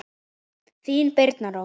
Þín Birna Rós.